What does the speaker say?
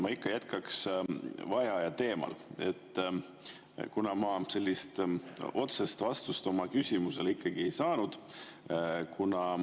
Ma ikka jätkaks vaheaja teemal, kuna ma otsest vastust oma küsimusele ei saanud.